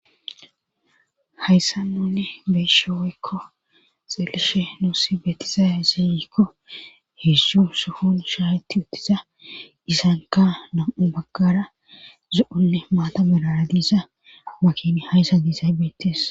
hayssa nuunne beeshe weykko xeelishe nuussi betizaya zeeyikko hidzdzu suhun shaahetti uttiza disanka nam7u baggara zu7onne maata mirara diisa makini hayssa diizaybeetes